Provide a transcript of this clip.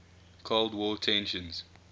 cold war tensions